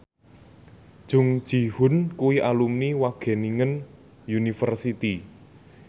Jung Ji Hoon kuwi alumni Wageningen University